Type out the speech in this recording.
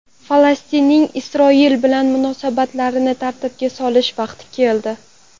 Falastinning Isroil bilan munosabatlarini tartibga solish vaqti keldi.